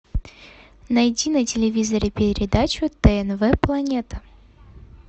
найти на телевизоре передачу тнв планета